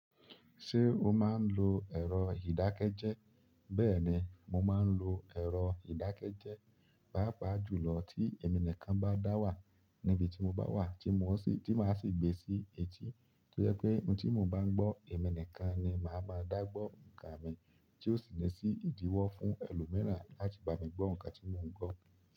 Ṣé o máa ń lo ẹ̀rọ ìdákẹ́jẹ́? Bẹ́ẹ̀ni, mo máa ń lo ẹ̀rọ ìdákẹ́jẹ́, pàápàá jùlọ tí ìmọ̀-nìkan bá dá wà níbi tí mo bá wà, tí mo sì, tí màá sì gbé e sí etí. Tó jẹ pé ohun tí mo bá ń gbọ́ emi nìkan ni màá máa dá gbọ́ ǹkan mi, tí ó sì ní sí ìdíwọ́ fún ẹlòmíràn láti bá mi gbọ́ ǹkan tí mò ń gbọ́.